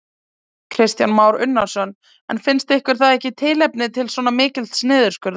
Kristján Már Unnarsson: En finnst ykkur það ekki tilefni til svona mikils niðurskurðar?